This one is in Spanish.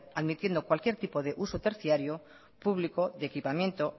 admitiendo cualquier tipo de uso terciario público de equipamiento